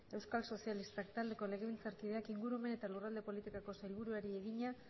euskal sozialistak taldeko legebiltzarkideak ingurumen eta lurralde politikako sailburuari egina